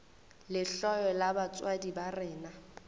lehloyo la batswadi ba rena